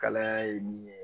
Kalaya ye min ye